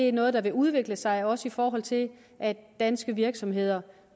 er noget der vil udvikle sig også i forhold til at danske virksomheder